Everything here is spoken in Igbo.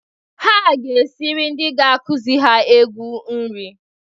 Ha ga-esiri ndị ga-akụzị ha egwu nrị.